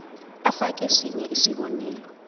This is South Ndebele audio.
ufake sinye isibonelo